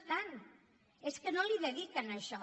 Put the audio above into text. no és tant és que no l’hi dediquen això